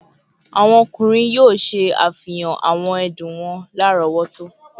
Awọn ọkunrin yoo ṣe afihan awọn ẹdun wọn larọwọto